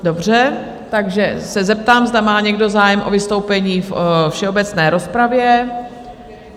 Dobře, takže se zeptám, zda má někdo zájem o vystoupení ve všeobecné rozpravě?